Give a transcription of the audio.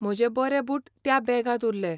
म्हजे बरे बूट त्या बॅगांत उरले.